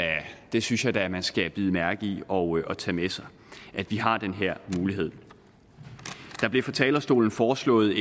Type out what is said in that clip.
det synes jeg da man skal bide mærke i og tage med sig at vi har den her mulighed der blev fra talerstolen foreslået